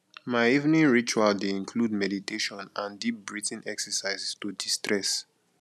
my evening ritual dey include meditation and deep breathing exercises to destress